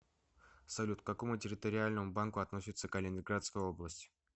салют к какому территориальному банку относится калининградская область